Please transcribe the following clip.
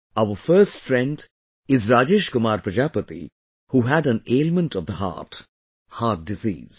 Our first friend is Rajesh Kumar Prajapati who had an ailment of the heart heart disease